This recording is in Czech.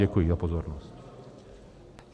Děkuji za pozornost.